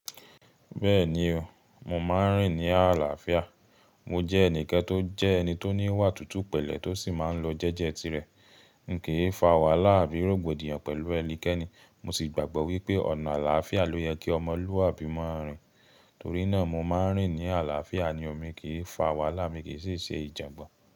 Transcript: Bẹ́ẹ̀ni o, mo máa ń rìn ní àlàáfíà. Mo jẹ́ ẹnìkan tó jẹ́ ẹni tó ní ìwà tútù pẹ̀lẹ́ tó sì máa ń lo jẹ́jẹ́ tirẹ̀. N kìí fa wàhálà àbí rògbòdìyàn pẹ̀lú ẹnikẹ́ni. Mo sì gbàgbọ́ wípé ọ̀nà àlàáfíà ló yẹ kí ọmọlúwàbí máa rìn. Mo jẹ́ ẹnìkan tó jẹ́ ẹni tó ní ìwà tútù pẹ̀lẹ́ tó sì máa ń lo jẹ́jẹ́ tirẹ̀.